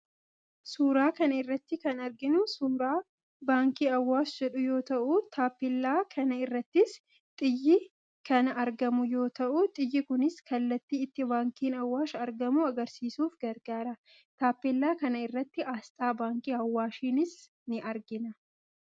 Suuraa kana irratti kan arginu suuraa Baankii Awaash jedhu yoo ta'u, taappeellaa kana irrattis xiyyi kana argamu yoo ta'u, xiyyi kunis kallattii itti baankiin Awaash argamu agarsiisuuf gargaara. Taappeellaa kana irratti asxaa baankii Awaashis in argina.